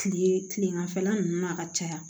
Kile kileganfɛla nunnu na ka caya